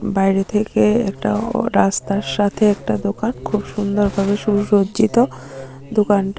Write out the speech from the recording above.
বাইরে থেকে একটা অ রাস্তার সাথে একটা দোকান খুব সুন্দরভাবে সুসজ্জিত দোকানটি।